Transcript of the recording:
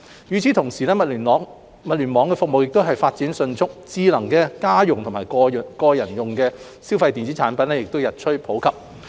與此同時，物聯網服務亦發展迅速，智能家用及個人消費電子產品日趨普及。